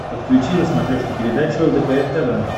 подключи на смотрешке передачу лдпр тв